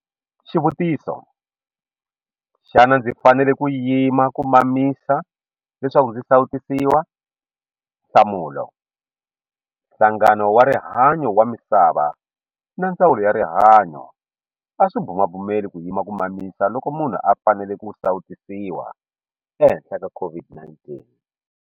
Xivutiso- Xana ndzi fanele ku yima ku mamisa leswaku ndzi sawutisiwa? Nhlamulo- Nhlangano wa Rihanyo wa Misava na Ndzawulo ya Rihanyo a swi bumabumeli ku yima ku mamisa loko munhu a fanele ku sawutisiwa ehenhla ka COVID-19.